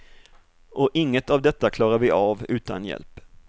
Och inget av detta klarar vi av utan hjälp.